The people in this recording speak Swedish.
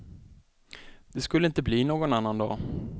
Det skulle inte bli någon annan dag.